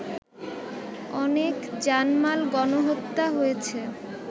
অনেক জানমাল, গণহত্যা হয়েছে